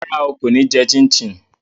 Rárá o, kò ní jẹ chin chin